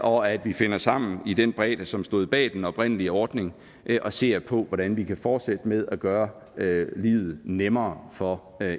og at vi finder sammen i den bredde som stod bag den oprindelige ordning og ser på hvordan vi kan fortsætte med at gøre livet nemmere for